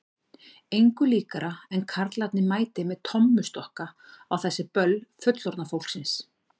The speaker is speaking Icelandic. Engu líkara en karlarnir mæti með tommustokka á þessi böll fullorðna fólksins.